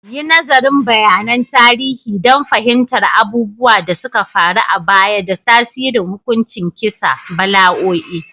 Yi nazarin bayanan tarihi don fahimtar abubuwan da suka faru a baya da tasirin hukuncin kisa, bala'o'i